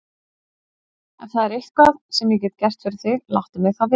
Ef það er eitthvað, sem ég get gert fyrir þig, láttu mig þá vita.